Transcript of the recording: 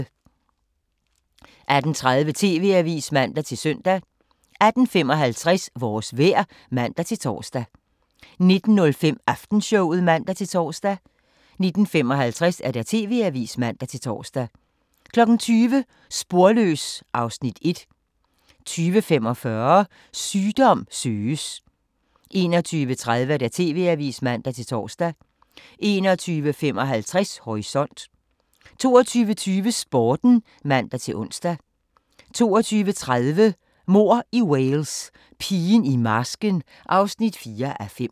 18:30: TV-avisen (man-søn) 18:55: Vores vejr (man-tor) 19:05: Aftenshowet (man-tor) 19:55: TV-avisen (man-tor) 20:00: Sporløs (Afs. 1) 20:45: Sygdom søges 21:30: TV-avisen (man-tor) 21:55: Horisont 22:20: Sporten (man-ons) 22:30: Mord i Wales: Pigen i marsken (4:5)